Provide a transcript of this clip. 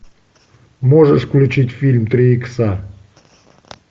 можешь включить фильм три икса